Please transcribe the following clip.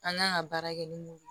An kan ka baara kɛ ni mun ye